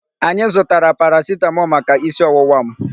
Anyị zụtara paracetamol maka isi ọwụwa m.